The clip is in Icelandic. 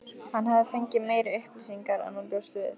Hann hafði fengið meiri upplýsingar en hann bjóst við.